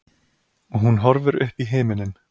Og hún horfir uppí himininn.